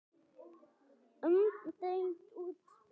Umdeilt útspil.